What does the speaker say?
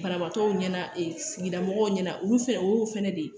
Banabaatɔw ɲɛna sigida mɔgɔw ɲɛna olu fɛnɛ o y'o fɛnɛ de ye